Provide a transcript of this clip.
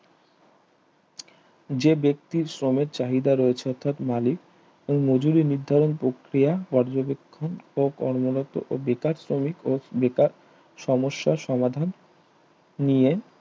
যে ব্যক্তির শ্রমে চাহিদা রয়েছে অর্থাৎ মালিক মজুরি নির্ধারণ প্রক্রিয়া পর্যবেক্ষণ ও কর্মরত ও বেকার শ্রমিক ও বেকার সমস্যা সমাধান নিয়ে